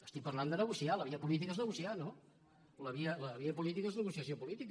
estic parlant de negociar la via política és negociar no la via política és negociació política